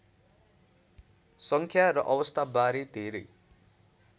सङ्ख्या र अवस्थाबारे धेरै